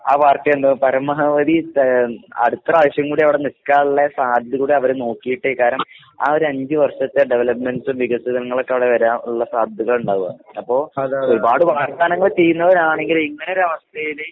ആ പാർട്ടിയെന്താ പരമാവധി ത അടുത്ത പ്രാവശ്യം കൂടി അവടെ നിക്കാള്ള സാധ്യത കൂടി അവര് നോക്കീട്ടെ കരം ആ ഒരഞ്ച് വർഷത്തെ ഡെവലപ്മെന്റ്‌സും വികസിതങ്ങളൊക്കെ അവടെ വരാനിള്ള സാധ്യതകളിണ്ടാവുക. അപ്പൊ ഒരുപാട് വാഗ്ദാനങ്ങള് ചെയ്യുന്നവരാണെങ്കി ഇങ്ങനൊരവസ്ഥേല്